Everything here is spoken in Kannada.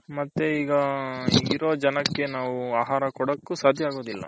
ಮತ್ತೆ ಈಗ ಇರೋ ಜನಕೆ ನಾವು ಆಹಾರ ಕೊಡಕ್ಕೂ ಸದ್ಯ ಆಗೋದಿಲ್ಲ.